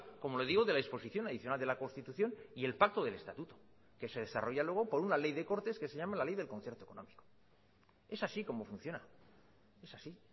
como le digo de la disposición adicional de la constitución y el pacto del estatuto que se desarrolla luego por una ley de cortes que se llama la ley del concierto económico es así como funciona es así